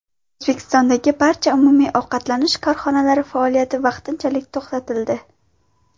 O‘zbekistondagi barcha umumiy ovqatlanish korxonalari faoliyati vaqtinchalik to‘xtatildi.